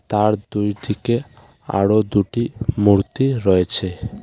তার দুই ডিকে আরও দুটি মূর্তি রয়েছে।